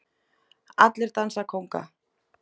Allir dansa kónga